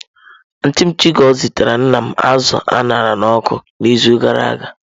Antịị m Chigo zitara nna m azụ a ṅara n'ọkụ n'izu gara aga.